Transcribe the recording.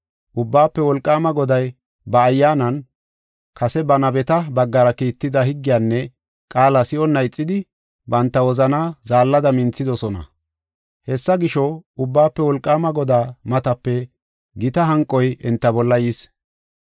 Ubbaafe Wolqaama Goday ba Ayyaanan kase ba nabeta baggara kiitida higgiyanne qaala si7onna ixidi banta wozanaa zaallada minthidosona. Hessa gisho, Ubbaafe Wolqaama Godaa matape gita hanqoy enta bolla yis.